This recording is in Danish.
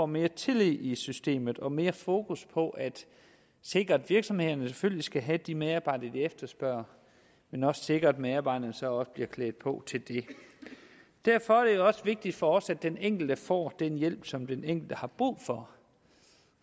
mere tillid i i systemet og mere fokus på at sikre at virksomhederne selvfølgelig skal have de medarbejdere de efterspørger men også sikre at medarbejderne så også bliver klædt på til det derfor er det også vigtigt for os at den enkelte får den hjælp som den enkelte har brug for